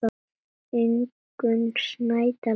Ingunn Snædal þýddi.